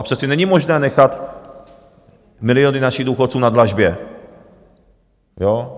A přece není možné nechat miliony našich důchodců na dlažbě.